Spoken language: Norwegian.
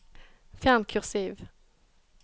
Fjern kursiv